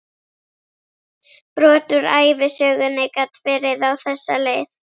Brot úr ævisögunni gat verið á þessa leið